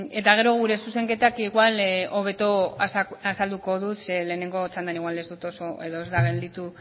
eta gero gure zuzenketak igual hobeto azalduko dut zeren lehenengo txandan ez da gelditu